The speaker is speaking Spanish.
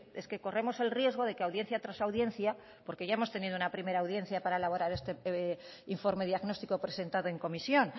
es que corremos el riesgo de que audiencia tras audiencia porque ya hemos tenido una primera audiencia para elaborar este informe diagnóstico presentado en comisión